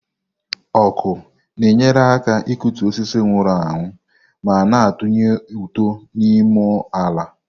Ọkụ na-enyere aka ịkụtu osisi nwụrụ anwụ ma na-atụnye ụtụ n'ịmụ ala.